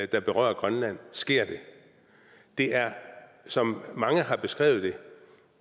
der berører grønland sker det det er som mange har beskrevet